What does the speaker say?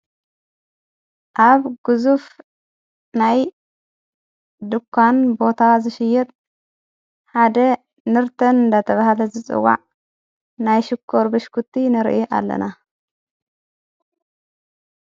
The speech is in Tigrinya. ኣብ ግዙፍ ናይ ድኳን ቦታ ዝሽየድ ሓደ ንርተን ዳተብሃለ ዝጽዋዕ ናይ ሽኮ ር ብሽኩቲ ንርኢ ኣለና።